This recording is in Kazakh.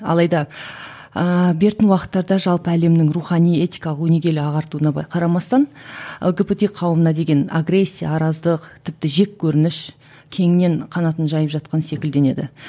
алайда ыыы бертін уақыттарда жалпы әлемнің рухани этикалық өнегелі ағартуына былай қарамастан лгбт қауымына деген агрессия араздық тіпті жеккөрініш кеңінен қанатын жайып жатқан секілденеді